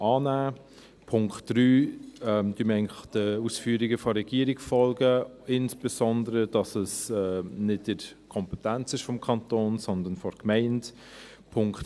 Beim Punkt 3 folgen wir eigentlich den Ausführungen der Regierung, insbesondere, dass es nicht in der Kompetenz des Kantons, sondern der Gemeinde liegt.